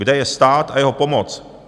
Kde je stát a jeho pomoc?